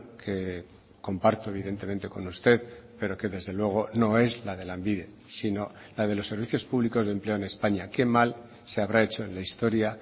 que comparto evidentemente con usted pero que desde luego no es la de lanbide sino la de los servicios públicos de empleo en españa qué mal se habrá hecho en la historia